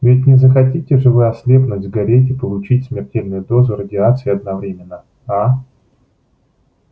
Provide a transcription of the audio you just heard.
ведь не захотите же вы ослепнуть сгореть и получить смертельную дозу радиации одновременно а